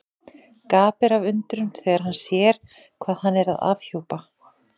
Gapir af undrun þegar hann sér hvað hann er að afhjúpa.